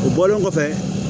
O bɔlen kɔfɛ